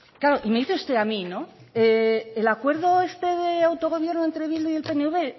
claro y me dice usted a mí el acuerdo este de autogobierno entre bildu y el pnv